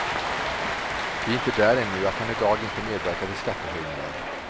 Vi är inte där ännu och jag kan idag inte medverka till skattehöjningar.